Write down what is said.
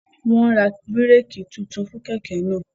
Wọn n rá bíréèkì títún fún kẹkẹ náà